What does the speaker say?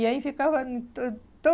E aí ficava hum to